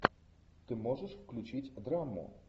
ты можешь включить драму